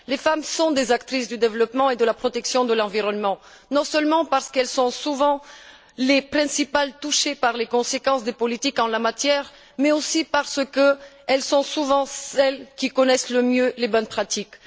Les femmes sont des actrices du développement et de la protection de l'environnement, non seulement parce qu'elles sont souvent les principales touchées par les conséquences des politiques en la matière, mais aussi parce qu'elles sont souvent celles qui connaissent le mieux les bonnes pratiques.